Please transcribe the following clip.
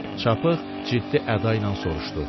Çapıq ciddi əda ilə soruşdu.